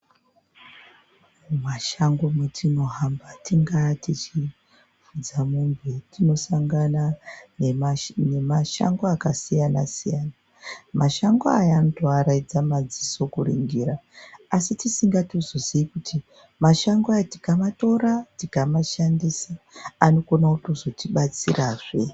Mumashango metinohamba tingava tichifudza mombe tichisangana nemashango akasiyana siyana, mashango aya anoaraidza madziso kuningira asi tisingazozivi kuti mashango aya tikamatora tikamashandisa anokona kuzotibatsirazve.